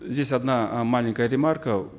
здесь одна э маленькая ремарка